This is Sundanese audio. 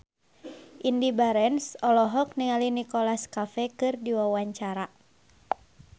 Indy Barens olohok ningali Nicholas Cafe keur diwawancara